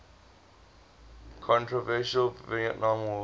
controversial vietnam war